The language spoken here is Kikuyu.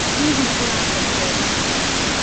Hihi ũrakomire thaa cĩgana?